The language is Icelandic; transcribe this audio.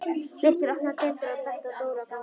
Birkir opnaði dyrnar og benti Dóru að ganga inn.